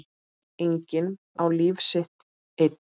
Enginn á líf sitt einn.